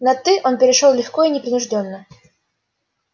на ты он перешёл легко и непринуждённо